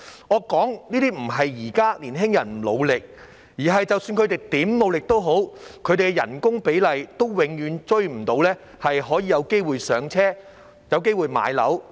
我說這些並非指現在的年輕人不努力，而是即使他們如何努力，他們的工資比例永遠也追不上，沒有機會"上車"及買樓。